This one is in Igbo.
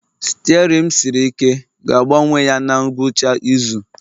Steerin m siri ike ga-agbanwe ya na ngwụcha izu